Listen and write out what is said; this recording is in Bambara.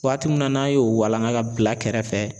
Waati min na n'an y'o walanga ka bila kɛrɛfɛ